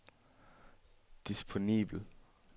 disponibel